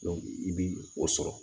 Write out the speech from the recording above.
i bi o sɔrɔ